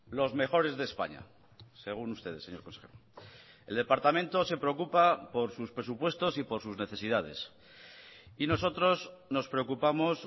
los mejores de españa según ustedes señor consejero el departamento se preocupa por sus presupuestos y por sus necesidades y nosotros nos preocupamos